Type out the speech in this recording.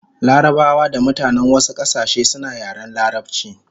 Larabawa da mutanen wasu kasashe suna yaren larabchi